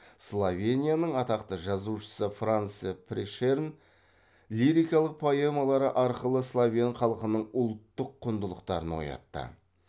словенияның атақты жазушысы франце прешерн лирикалық поэмалары арқылы словен халқының ұлттық құндылықтарын оятты